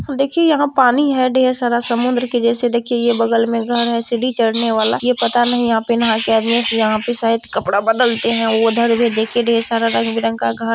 देखिए यहाँ पानी है ढेर सारा समुन्द्र के जैसे देखिए ये बगल में घर है सीढ़ी चढने वाला। ये पता नही यहां पे आदमी नहा के आदमी ये पता नहीं सायद कपड़ा बदलते हैं। उधर देखिए ढेर सारा रंग-बिरंग का घर --